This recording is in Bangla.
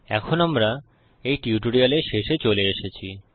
এখন আমরা এই টিউটোরিয়ালের শেষে চলে এসেছি